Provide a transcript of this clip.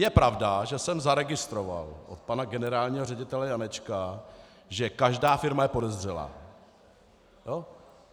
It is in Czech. Je pravda, že jsem zaregistroval od pana generálního ředitele Janečka, že každá firma je podezřelá.